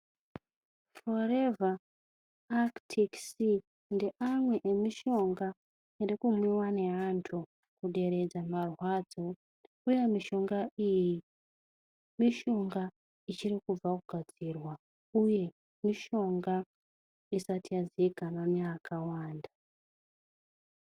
Forever Actic Sea ngeamwe yemishonga irikumwiwa neantu kuderedza mamwadzo uye mishonga iyi mishonga ichirikubva kugadzirwa uye mishonga isati yaziikanwa neakawanda.